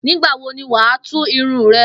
Nígbà wo ni wà á tú irun re̩?